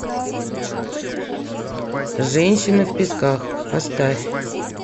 женщины в песках поставь